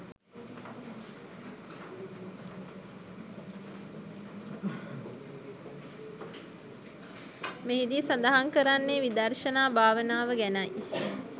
මෙහිදී සඳහන් කරන්නේ විදර්ශනා භාවනාව ගැනයි